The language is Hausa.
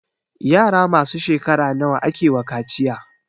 Yara masu shekara nawa akewa kaciya?